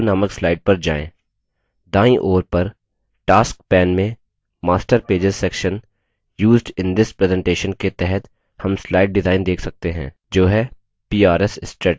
दाईं ओर पर tasks pane में master pages section used in this presentation के तहत हम slide डिजाइन देख सकते हैं जो है prs strategy